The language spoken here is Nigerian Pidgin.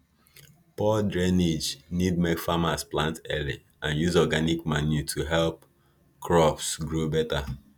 poor drainage need make farmers plant early and use organic manure to help crops grow better